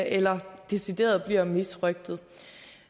eller decideret bliver misrøgtet